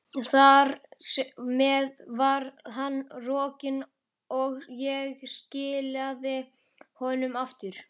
Þar með var hann rokinn, og ég skilaði honum aftur.